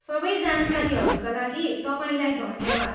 सबै जानकारीहरूका लागि तपाईँलाई धन्यवाद।